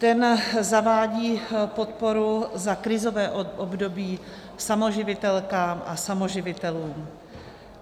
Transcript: Ten zavádí podporu za krizové období samoživitelkám a samoživitelům.